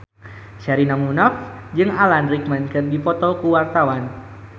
Sherina Munaf jeung Alan Rickman keur dipoto ku wartawan